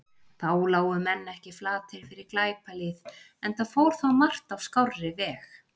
Þá lágu menn ekki flatir fyrir glæpalýð, enda fór þá margt á skárri veg.